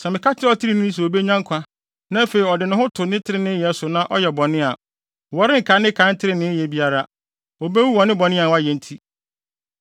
Sɛ meka kyerɛ ɔtreneeni sɛ obenya nkwa, na afei ɔde ne ho to ne treneeyɛ so na ɔyɛ bɔne a, wɔrenkae ne kan trenee nneyɛe biara. Obewu wɔ ne bɔne a wayɛ nti.